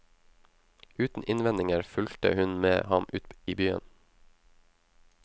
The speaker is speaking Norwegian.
Uten innvendinger fulgte hun med ham ut i byen.